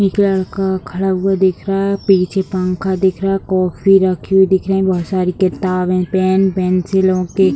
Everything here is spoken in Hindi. एक लड़का खड़ा हुआ दिख रहा है पीछे पंखा दिख रहा है कॉफी रखी हुई दिख रहे बहुत सारी किताबें पेन पेंसिलों के --